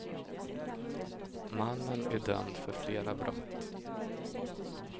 Mannen är dömd för flera brott.